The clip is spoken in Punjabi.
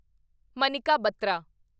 ਮਨਿਕਾ ਬੱਤਰਾ